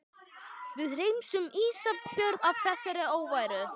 Við hreinsum Ísafjörð af þessari óværu!